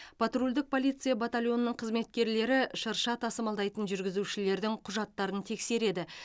патрульдік полиция батальонының қызметкерлері шырша тасымалдайтын жүргізушілердің құжаттарын тексереді